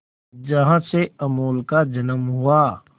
जहां से अमूल का जन्म हुआ